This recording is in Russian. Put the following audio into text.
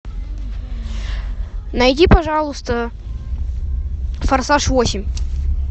найди пожалуйста форсаж восемь